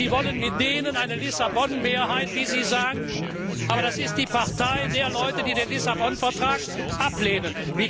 Sie wollen mit denen eine Lissabon Mehrheit, wie Sie sagen, aber das ist die Partei der Leute, die den Lissabon Vertrag ablehnen.